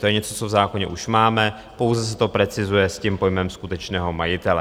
To je něco, co v zákoně už máme, pouze se to precizuje s tím pojmem skutečného majitele.